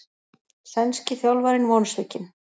Sænski þjálfarinn vonsvikinn